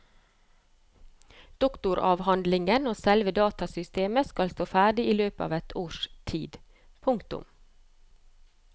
Doktoravhandlingen og selve datasystemet skal stå ferdig i løpet av et års tid. punktum